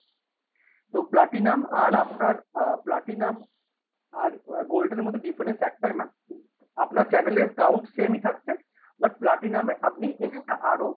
তো platinum আর আপনার platinum আর gold এর মধ্যে difference একটাই ma'am আপনার channel এর count same ই থাকছে but platinum এ আপনি extra আরো,